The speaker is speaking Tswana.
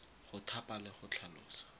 go thapa le go tlhalosa